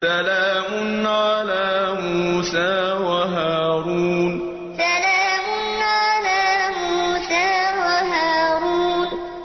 سَلَامٌ عَلَىٰ مُوسَىٰ وَهَارُونَ سَلَامٌ عَلَىٰ مُوسَىٰ وَهَارُونَ